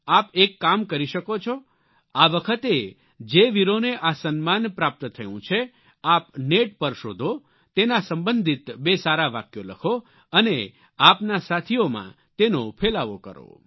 આપ એક કામ કરી શકો છો આ વખતે જે વીરોને આ સન્માન પ્રાપ્ત થયું છે આપ નેટ પર શોધો તેના સંબંધિત બે સારા વાક્યો લખો અને આપના સાથીયોમાં તેનો ફેલાવો કરો